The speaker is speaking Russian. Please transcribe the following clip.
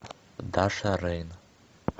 даша рейн